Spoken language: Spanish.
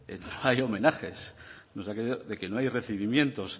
no hay homenajes de que no hay recibimientos